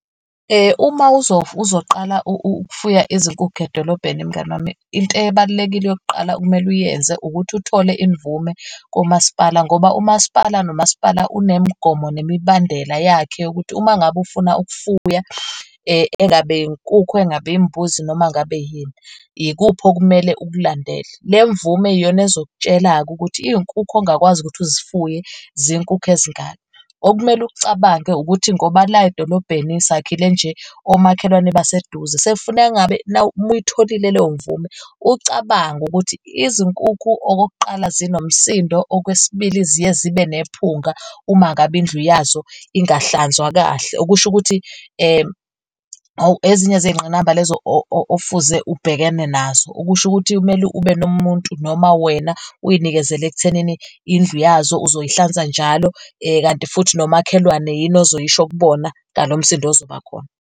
Uma uzoqala ukufuya izinkukhu edolobheni, mngani wami, into ebalulekile yokuqala okumele uyenze ukuthi uthole imvume kumasipala ngoba umasipala nomasipala unemigomo nemibandela yakhe ukuthi uma ngabe ufuna ukufuya engabe inkukhu engabe imbuzi noma ngabe yini, yikuphi okumele ukulandele. Le mvume iyona ezokutshela-ke ukuthi iy'nkukhu ongakwazi ukuthi ezifuye zinkukhu ezingaki. Okumele ukucabange ukuthi ngoba la edolobheni sakhile nje omakhelwane baseduze, sekufuneka ngabe uma uyitholile leyo mvume ucabange ukuthi izinkukhu okokuqala zinomsindo okwesibili ziye zibe nephunga uma ngabe indlu yazo ingahlanzwa kahle. Okusho ukuthi ezinye zey'nqinamba lezo ofuze obhekene nazo, okusho ukuthi kumele ube nomuntu noma wena uyinikezele ekuthenini indlu yazo uzoyihlanza njalo, kanti futhi nomakhelwane yini ozoyisho kubona ngalo msindo ozoba khona.